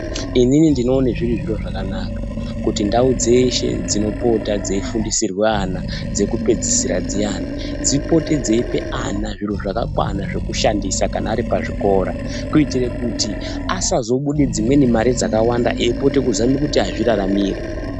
Inini ndinoona zviri zviro zvakanaka kuti ndau dzeshe dzinopota dzeifundisirwa ana dzekupedzisira zviyani dzipote dzeipa ana zviro zvakakwana zviyani zvekushandisa kana aripazvikora kuitira kuti asazobude dzimweni mare dzakawanda aipota kuzama azviraramire.